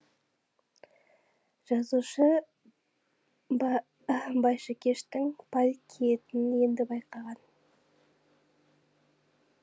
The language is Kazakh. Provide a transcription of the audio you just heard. жазушы байшыкештің парик киетінін енді байқаған